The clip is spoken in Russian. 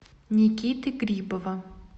никиты грибова